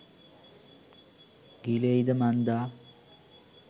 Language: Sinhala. ගිලෙයිද මන්දා?